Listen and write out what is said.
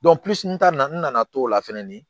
polisi ta nunnu na na t'o la fɛnɛ nin